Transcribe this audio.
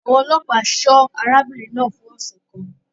Àwọn ọlọ́pàá ṣọ́ arábìnrin náà fún ọ̀sẹ̀ kan.